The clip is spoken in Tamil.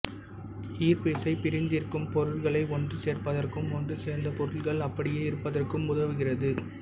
ஈர்ப்பு விசை பிரிந்திருக்கும் பொருட்களை ஒன்று சேர்பதற்கும் ஒன்று சேர்ந்த பொருட்கள் அப்படியே இருபதற்கும் உதவுகிறது